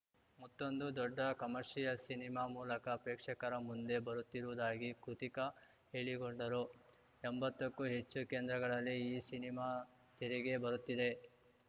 ಮತ್ತೊಂದು ದೊಡ್ಡ commercial cinema ಮೂಲಕ ಪ್ರೇಕ್ಷಕರ ಮುಂದೆ ಬರುತ್ತಿರುವುದಾಗಿ ಕೃತಿಕಾ ಹೇಳಿಕೊಂಡರು ಎಂಬತ್ತಕ್ಕೂ ಹೆಚ್ಚು ಕೇಂದ್ರಗಳಲ್ಲಿ ಈ ಸಿನಿಮಾ ತೆರೆಗೆ ಬರುತ್ತಿದೆ